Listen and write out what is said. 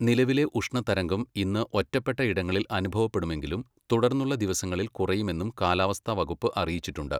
നിലവിലെ ഉഷ്ണതരംഗം ഇന്ന് ഒറ്റപ്പെട്ട ഇടങ്ങളിൽ അുഭവപ്പെടുമെങ്കിലും തുടർന്നുള്ള ദിവസങ്ങളിൽ കുറയുമെന്നും കാലാവസ്ഥാ വകുപ്പ് അറിയിച്ചിട്ടുണ്ട്.